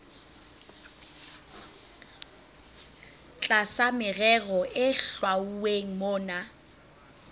tlasa merero e hlwauweng mona